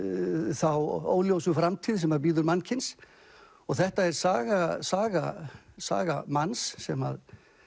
þá óljósu framtíð sem bíður mannkyns þetta er saga saga saga manns sem